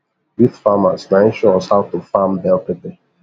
youth farmers naim show us how to farm bell pepper